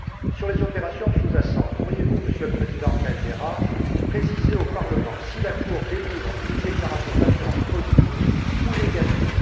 Sur les opérations sous jacentes, pourriez vous, Monsieur le Président Caldeira, préciser au Parlement si la Cour délivre une déclaration d'assurance positive ou négative?